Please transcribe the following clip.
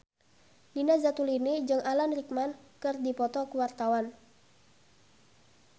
Nina Zatulini jeung Alan Rickman keur dipoto ku wartawan